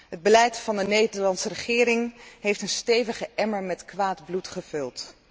Het beleid van de Nederlandse regering heeft een stevige emmer met kwaad bloed gevuld.